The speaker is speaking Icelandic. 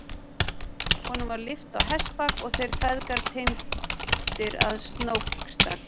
Honum var lyft á hestbak og þeir feðgar teymdir að Snóksdal.